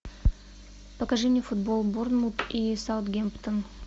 покажи мне футбол борнмут и саутгемптон